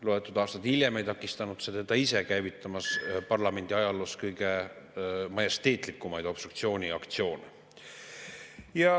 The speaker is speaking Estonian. Loetud aastad hiljem ei takistanud see teda ennast käivitamast parlamendi ajaloos kõige majesteetlikumaid obstruktsiooniaktsioone.